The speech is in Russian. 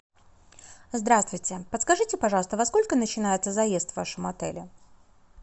здравствуйте подскажите пожалуйста во сколько начинается заезд в вашем отеле